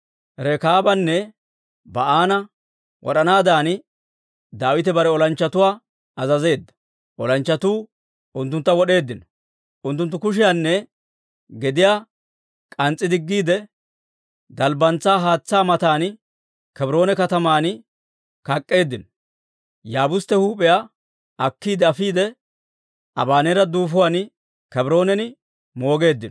Rekaabanne Ba'aana wod'anaadan Daawite bare olanchchatuwaa azazeedda; olanchchatuu unttuntta wod'eeddino; unttunttu kushiyaanne gediyaa k'ans's'i diggiide, dalbbantsaa haatsaa matan Kebroone kataman kak'k'eeddino. Yaabustte huup'iyaa akkiide afiide, Abaneera duufuwaan Kebroonan moogeeddino.